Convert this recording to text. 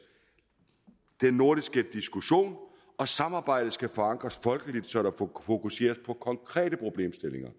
den nordiske diskussion og samarbejdet skal forankres folkeligt så der fokuseres på konkrete problemstillinger